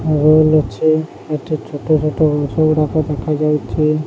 ଛୋଟ ଛୋଟ ଜିନିଷ ଗୁଡା ଦେଖାଯାଉଚି।